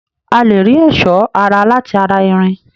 A lè rí ẹ̀sọ́ ara láti ara irin